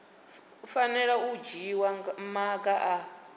fanela u dzhiwa maga a